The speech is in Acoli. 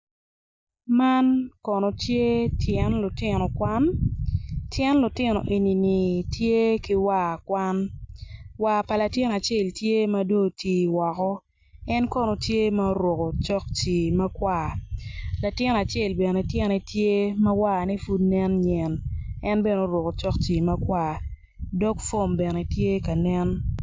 Man kono tye tyen lutino kwan tyen lutino enini tye ki war kwan war pa latin acel tye ma dong oti woko en kono tye ma oruko cokci makwar latin acel bene tyene tye ma warne pud nen nyen en bene oruko cokci makwar dog fom bene tye ka nen.